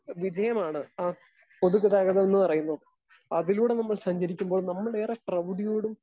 Speaker 2 വിജയമാണ് ആ പൊതുഗതാഗതമെന്ന് പറയുന്നത്. അതിലൂടെ നമ്മൾ സഞ്ചരിക്കുമ്പോൾ നമ്മൾ ഏറെ പ്രൗഢിയോടും